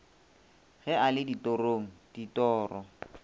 ge a le ditorong ditoro